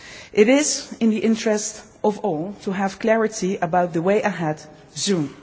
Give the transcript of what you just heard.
It is in the interest of all to have clarity about the way ahead